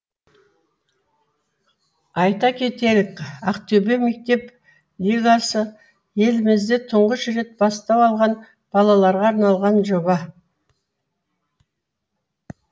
айта кетелік ақтөбе мектеп лигасы елімізде тұңғыш рет бастау алған балаларға арналған жоба